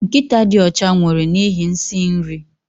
Nkịta dị ọcha nwụrụ n'ihi nsị nri